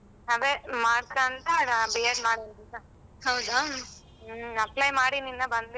ಅದೇ ಮಾಡಕೋತ B.ed apply ಮಾಡೀನೀ ಇನ್ನ ಬಂದಿಲ್ಲ.